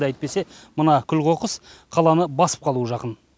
әйтпесе мына күл қоқыс қаланы басып қалуға жақын